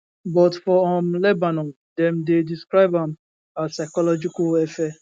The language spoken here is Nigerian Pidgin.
but for um lebanon dem dey describe am as psychological warfare